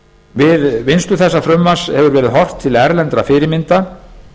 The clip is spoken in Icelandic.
við vinnslu þessa frumvarpi hefur verið horft til erlendra fyrirmynda